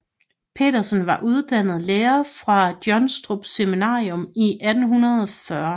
Petersen var uddannet lærer fra Jonstrup Seminarium i 1840